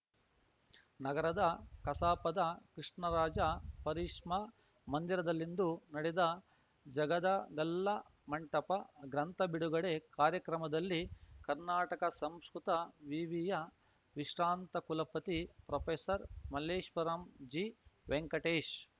ನಗರದ ಕಸಾಪದ ಕೃಷ್ಣರಾಜ ಪರಿಷ್ಮ ಮಂದಿರದಲ್ಲಿಂದು ನಡೆದ ಜಗದಗಲ್ಲ ಮಂಟಪ ಗ್ರಂಥ ಬಿಡುಗಡೆ ಕಾರ್ಯಕ್ರಮದಲ್ಲಿ ಕರ್ನಾಟಕ ಸಂಸ್ಕೃತ ವಿವಿಯ ವಿಶ್ರಾಂತ ಕುಲಪತಿ ಪ್ರೊಪೆಸರ್ ಮಲ್ಲೇಪುರಂ ಜಿ ವೆಂಕಟೇಶ್